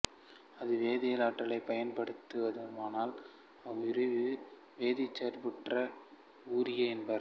அது வேதியியல் ஆற்றலைப் பயன்படுத்துமானால் அவ்வுயிரியை வேதிச்சார்பூட்ட உயிரி என்பர்